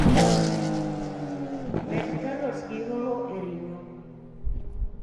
Med karot gi hoho e ring'o